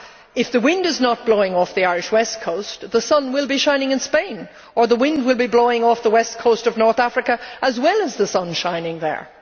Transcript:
If the wind is not blowing off the Irish west coast, the sun will be shining in Spain, or the wind will be blowing off the west coast of North Africa as well as the sun shining there.